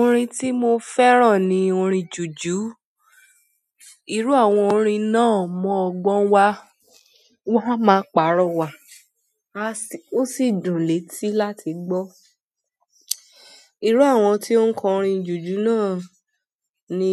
Orin tí mo fẹ́ràn ni orin jùjú. Irú àwọn orin náà mu ọgbọ́n wa, wọ́n máa pàrọ̀ wa, a sì, ó sì dùn létí láti gbọ́. Irú àwọn tí ó ń kọ orin jùjú náà ni